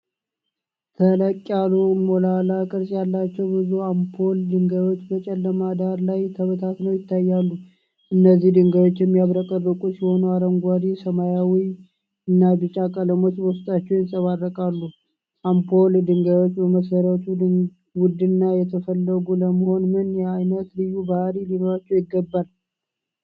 ተለቅ ያሉ ሞላላ ቅርፅ ያላቸው ብዙ ኦፓል ድንጋዮች በጨለማ ዳራ ላይ ተበታትነው ይታያሉ። እነዚህ ድንጋዮች የሚያብረቀርቁ ሲሆኑ አረንጓዴ፣ ሰማያዊና ቢጫ ቀለሞች በውስጣቸው ይንጸባረቃሉ። ኦፓል ድንጋዮች በመሠረቱ ውድና የተፈለጉ ለመሆን ምን ዓይነት ልዩ ባህሪያት ሊኖሯቸው ይገባል?